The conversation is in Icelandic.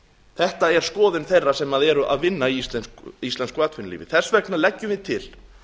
þetta er skoðun þeirra sem eru að vinna í íslensku atvinnulífi þess vegna leggjum við til